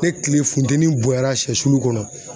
Ni kile funteni bonyara sɛsulu kɔnɔ